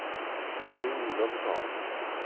Elvy Olovsson